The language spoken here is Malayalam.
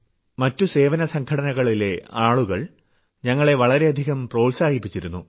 മറ്റു സേവനസംഘടനകളിലെ ആളുകൾ ഞങ്ങളെ വളരെയധികം പ്രോത്സാഹിപ്പിച്ചിരുന്നു